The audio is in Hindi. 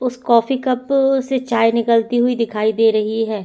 उस कॉफ़ी कप से चाय निकलती हुई दिखाई दे रही है।